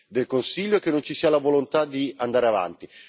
del Consiglio e che non ci sia la volontà di andare avanti.